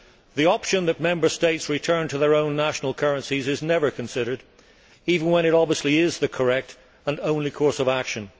The option that Member States return to their own national currencies is never considered, even when it obviously is the correct and only course of action.